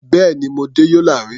Bẹ́ẹ̀ni, mo dé Yola rí.